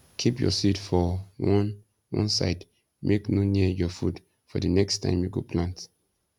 keep your seed for one one side make no near your food for di next time you go plant